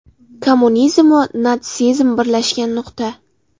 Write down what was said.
Kommunizm va natsizm birlashgan nuqta.